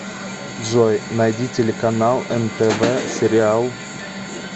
джой найди телеканал нтв сериал